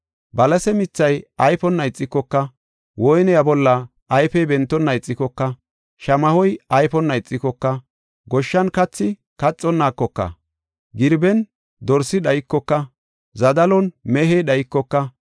Balase mithay ayfonna ixikoka, woyniya bolla ayfey bentonna ixikoka, shamahoy ayfonna ixikoka, goshshan kathi kaxikoka, girben dorsi dhaykoka, zadalon mehey dhaykoka,